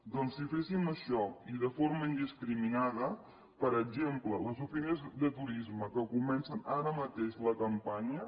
doncs si féssim això i de forma indiscriminada per exemple les oficines de turisme que comencen ara mateix la campanya